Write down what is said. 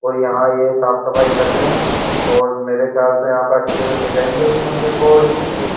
और यहाँ ये साफ सफाई कर रहे हैं और मेरे ख्याल से यहाँ पर अच्छे से सजाएंगे इस मंदिर को और भी खूब --